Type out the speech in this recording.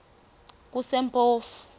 kusempofu